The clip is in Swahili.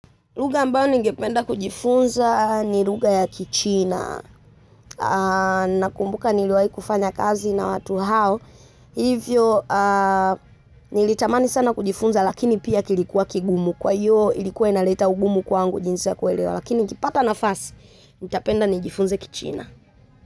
Lugha ambayo ningependa kujifunza ni lugha ya Kichina. Nakumbuka niliwahi kufanya kazi na watu hao. Hivyo, nilitamani sana kujifunza, lakini pia kilikuwa kigumu. Kwa hiyo, ilikuwa inaniletea ugumu kuielewa. Lakini nikapata nafasi, ningependa kujifunza Kichina.